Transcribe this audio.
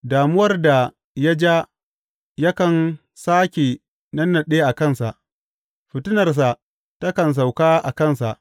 Damuwar da ya ja yakan sāke nannaɗe a kansa; fitinarsa takan sauka a kansa.